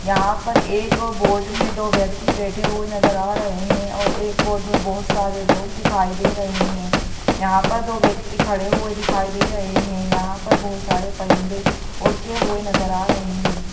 यहाँ पर एक बोट में दो व्यक्ति बैठे हुए नज़र आ रहे है और एक बोट में बहुत सारे लोग दिखाई दे रहे हैं यहाँ पर दो व्यक्ति खड़े हुए दिखाई दे रहे हैं यहाँ पर बहुत सारे परिंदे उड़ते हुए नज़र आ रहे हैं।